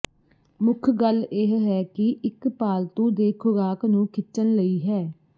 ਮੁੱਖ ਗੱਲ ਇਹ ਹੈ ਕਿ ਇੱਕ ਪਾਲਤੂ ਦੇ ਖੁਰਾਕ ਨੂੰ ਖਿੱਚਣ ਲਈ ਹੈ